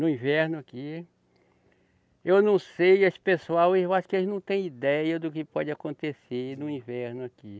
No inverno aqui. Eu não sei, esse pessoal, eu acho que eles não têm ideia do que pode acontecer no inverno aqui.